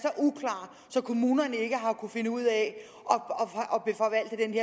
så kommunerne ikke har kunnet finde ud af